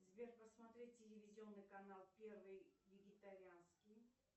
сбер посмотреть телевизионный канал первый вегетарианский